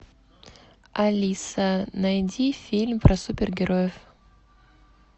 алиса найди фильм про супергероев